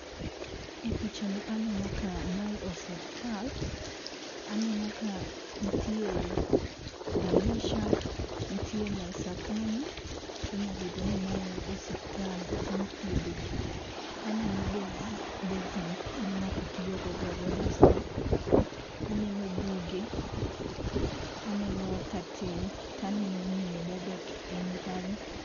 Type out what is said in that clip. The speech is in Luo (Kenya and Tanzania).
E picha ni aneno ka mae osiptal aneno ka nitie dirisha, nite mesa kanyo, to onya bedo ni mae osiptal ku mi ithiedhe ji aneno basin ma ng'ato tiyo go gogo dasta, aneno buge ,aneno curtain to aneno miyo ma obet piny kanyo.